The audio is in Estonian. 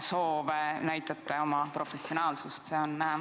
Sellega te näitate oma professionaalsust.